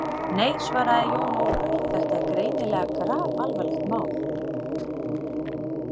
Nei, svaraði Jón Ólafur, þetta er greinilega grafalvarlegt mál.